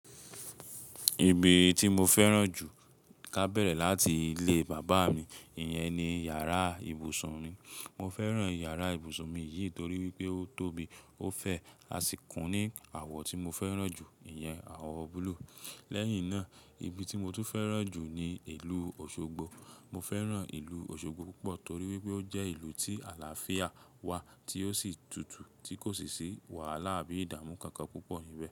Ibi tí mo fẹ́ràn jù ká bẹ̀rẹ̀ láti ilé bàbá mi, ìyẹn ni yàrá ìbùsùn mi. Mo fẹ́ràn yàrá ìbùsùn mi yìí torí wípé ó tóbi, ó fẹ̀, a sì kùn ní àwọ̀ tí mo fẹ́ràn jù, ìyẹn àwọ̀ búlúù. Lẹ́yìn náà, ibi tí mo tún fẹ́ràn jù ni ìlú Òṣogbo. Mo fẹ́ràn ìlú Òṣogbo púpọ̀ torí wípé ó jẹ́ ìlú tí àlàáfíà wà tí ó sì tutù tí kò sì sí wàhálà àbí ìdààmú kankan púpọ̀ níbẹ̀.